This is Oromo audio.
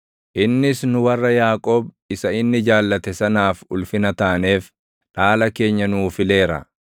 Innis nu warra Yaaqoob isa inni jaallate sanaaf ulfina taaneef, dhaala keenya nuu fileera.